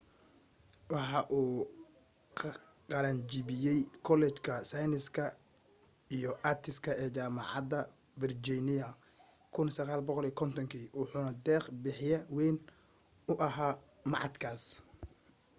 waxa uu ka qalan jabiyay kuleejka sayniska & artiska ee jaamacada virginia 1950 kii wuxuna deeq bixye wayn u ahaa machadkaas